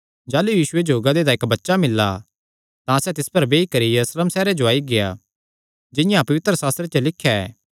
जाह़लू यीशुये जो गधे दा इक्क बच्चा मिल्ला तां सैह़ तिस पर बेई करी यरूशलेम सैहरे जो आई गेआ जिंआं पवित्रशास्त्रे च लिख्या ऐ